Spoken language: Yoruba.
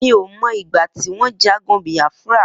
Mi ó mọ igbà tiwọn jàgùn Biafra